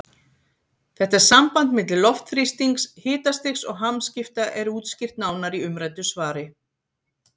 Þetta samband milli loftþrýstings, hitastigs og hamskipta er útskýrt nánar í umræddu svari.